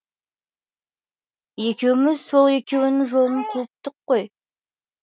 екеуміз сол екеуінің жолын қуыптық қой